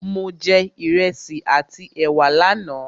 Mo jẹ Ìrẹsi àti ẹ̀wà lánà